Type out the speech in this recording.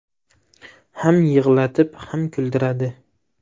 Ham yig‘latib, ham kuldiradi.